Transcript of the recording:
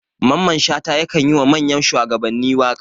Mamman shata yakan yi wa manyan shuwagabanni waka.